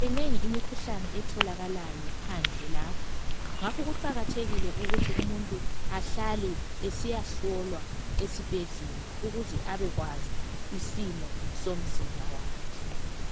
Minengi imikhuhlane etholakalayo phandle la, ngakho kuqakathekile ukuthi umuntu ahlale esiyahlolwa esibhedlela ukuze abekwazi isimo somzimba wakhe,